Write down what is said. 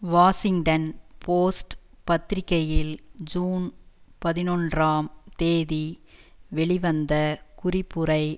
Washington Post பத்திரிகையில் June பதினொன்றாம் தேதி வெளிவந்த குறிப்புரை